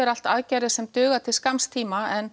allt aðgerðir sem duga til skamms tíma en